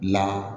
La